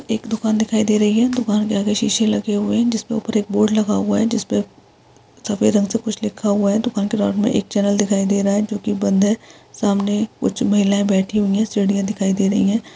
एक दुकान दिखाई दे रही है दुकान के आगे शीशे लगे हुए है जिसपे ऊपर एक बोर्ड लगा हुआ है जिसपे सफ़ेद रंग से कुछ लिखा हुआ है दुकान के एक चैनल दिखाई दे रहा है जो कि बंद है सामने कुछ महिलाये बैठी हुई है सिढ़ियाँ दिखाई दे रही हैं।